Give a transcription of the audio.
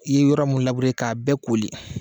I ye yɔrɔ min labure k'a bɛɛ lakoori